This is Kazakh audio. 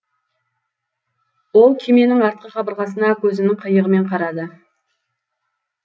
ол күйменің артқы қабырғасына көзінің қиығымен қарады